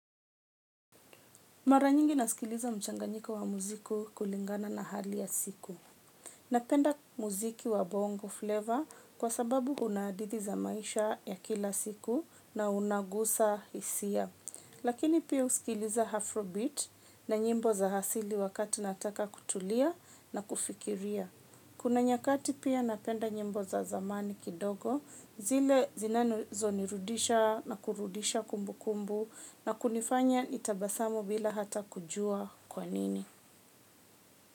Mara nyingi nasikiliza mchanganyiko wa muziki kulingana na hali ya siku. Napenda muziki wa bongo flavor kwa sababu una hadithi za maisha ya kila siku na unagusa hisia. Lakini pia husikiliza afrobeat na nyimbo za asili wakati nataka kutulia na kufikiria. Kuna nyakati pia napenda nyimbo za zamani kidogo zile zinanizonirudisha na kurudisha kumbukumbu na kunifanya nitabasamu bila hata kujua kwanini.